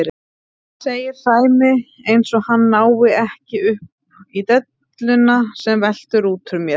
segir Sæmi eins og hann nái ekki upp í delluna sem veltur út úr mér.